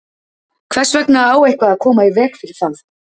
Hvers vegna á eitthvað að koma í veg fyrir það?